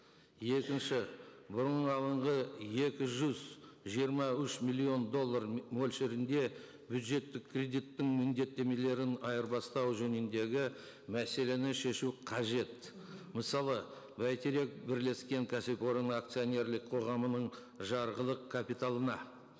екінші екі жүз жиырма үш миллион доллар мөлшерінде бюджеттік кредиттің міндеттемелерін айырбастау жөніндегі мәселені шешу қажет мысалы бәйтерек бірлескен кәсіпорын акционерлік қоғамының жарғылық капиталына